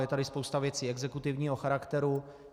Je tady spousta věcí exekutivního charakteru.